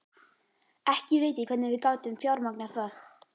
Ekki veit ég hvernig við gátum fjármagnað það.